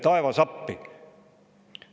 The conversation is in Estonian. Tule taevas appi!